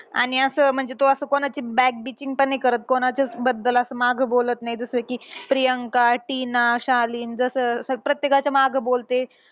आणि असं म्हणजे तो असं back beaching पण नाही करत. कोणाच्याबद्दल मागं बोलत नाही. जसं कि प्रियांका, टीना, शालीन जसं अं प्रत्येकाच्या मागं बोलते.